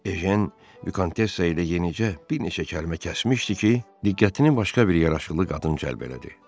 Ejen Vikontessa ilə yenicə bir neçə kəlmə kəsmişdi ki, diqqətini başqa bir yaraşıqlı qadın cəlb elədi.